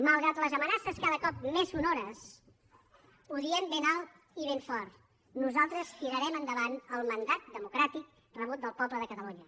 malgrat les amenaces cada cop més sonores ho diem ben alt i ben fort nosaltres tirarem endavant el mandat democràtic rebut del poble de catalunya